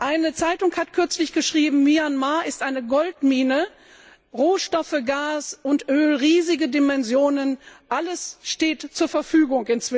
Eine Zeitung hat kürzlich geschrieben Myanmar ist eine Goldmine Rohstoffe, Gas und Öl in riesigen Dimensionen alles steht inzwischen zur Verfügung.